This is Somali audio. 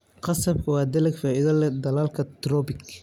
Qasabka waa dalag faa'iido leh dalalka tropik.